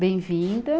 Bem-vinda.